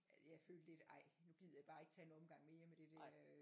Jeg følte lidt ej nu gider jeg bare ikke tage en omgang mere med det der øh